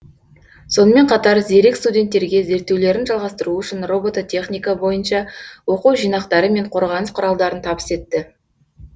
сонымен қатар зерек студенттерге зерттеулерін жалғастыруы үшін робототехника бойынша оқу жинақтары мен қорғаныс құралдарын табыс етті